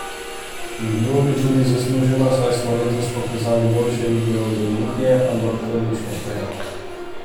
Bilo bi tudi zasluženo, saj smo letos pokazali boljše igre od Olimpije, ampak to nič ne šteje.